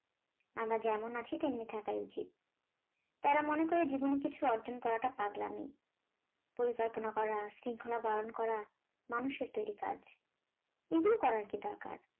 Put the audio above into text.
আমরা যেমন আছি তেমনি থাকাই উচিত, তারা মনে করে জীবনে কিছু অর্জন করাটা পাগলামি পরিকল্পনা করা, শৃঙ্খলা পালন করা মানুষের তৈরি কাজ, এগুলো করার কি দরকার